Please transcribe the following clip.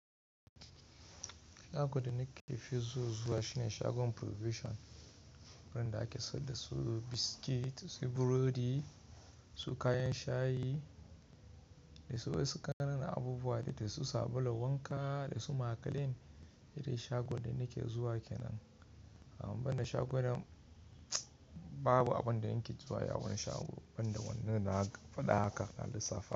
Shagon da nake fi zuwa shine shagon Provision, inda ake sayar da su biskit, su burodi, su kayan shayi da wasu ƙananan abubuwa da su sabula wanka da wasu makalin. Yanda shagon da nake zuwa kenan. Amma banda shagon nan babu abin da in ke zuwa a wani shago, banda wannan na faɗa haka na lissafi.